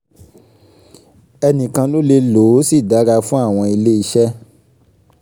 ẹnìkan ló lè lò ó ó sì dára fún àwọn ilé iṣẹ́